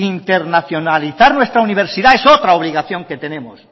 internacionalizar nuestra universidad es otra obligación que tenemos